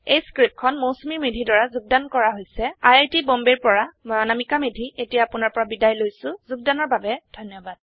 এই পাঠটি মৌচুমী মেধীৰ দ্ৱাৰা যোগদান কৰা হৈছে আই আই টী বম্বে ৰ পৰা মই অনামিকা মেধি এতিয়া আপুনাৰ পৰা বিদায় লৈছো যোগদানৰ বাবে ধন্যবাদ